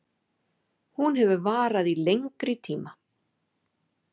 Hún hefur varað í lengri tíma